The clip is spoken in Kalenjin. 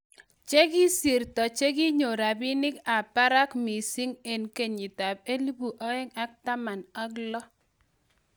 Chekisirto chekinyor rabinik ab parak missing 2016